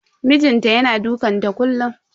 Mijin ta yana dukanta kullun.